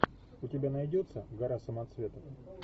у тебя найдется гора самоцветов